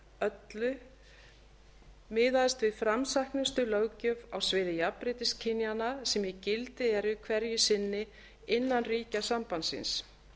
öllu miðaðist við framsæknustu löggjöf á sviði jafnréttis kynjanna sem í gildi er hverju sinni innan ríkja sambandsins